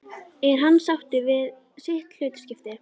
Er hann sáttur við sitt hlutskipti?